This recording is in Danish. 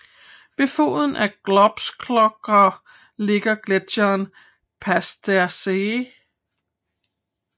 Ved foden af Großglockner ligger gletjeren Pasterze